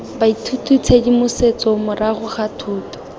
baithuti tshedimosetso morago ga thuto